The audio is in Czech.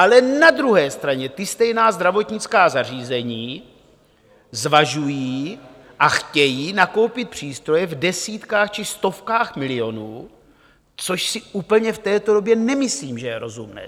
Ale na druhé straně ta stejná zdravotnická zařízení zvažují a chtějí nakoupit přístroje v desítkách či stovkách milionů, což si úplně v této době nemyslím, že je rozumné.